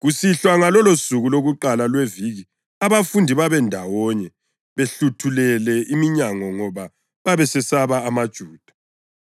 Kusihlwa ngalolosuku lokuqala lweviki, abafundi babendawonye behluthulele iminyango ngoba besesaba amaJuda,